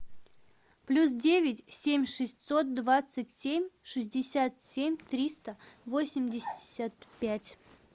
плюс девять семь шестьсот двадцать семь шестьдесят семь триста восемьдесят пять